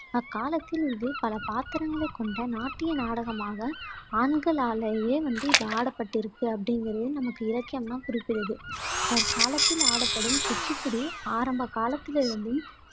அக்காலத்தில் இது பல பாத்திரங்களைக் கொண்ட நாட்டிய நாடகமாக, ஆண்களாலேயே வந்து இது ஆடப்பட்டிருக்கு அப்படிங்குறது நமக்கு இலக்கியம்லாம் குறிப்பிடுது தற்காலத்தில் ஆடப்படும் குச்சிப்புடி ஆரம்பகாலத்திலே இருந்தும்